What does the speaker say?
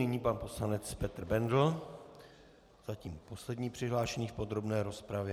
Nyní pan poslanec Petr Bendl, zatím poslední přihlášený v podrobné rozpravě.